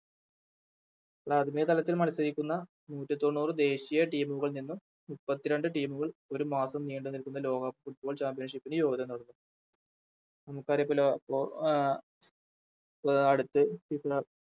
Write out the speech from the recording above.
രാജകീയ തലത്തിൽ മത്സരിക്കുന്ന നൂറ്റിത്തൊണ്ണൂറ് ദേശീയ Team കളിൽ നിന്ന് മുപ്പത്രണ്ട് Team കൾ ഒരുമാസം നീണ്ടുനിൽക്കുന്ന ലോകകപ്പ് Football championship ന് യോഗ്യത നേടുന്നു ആഹ് ആഹ് അടുത്ത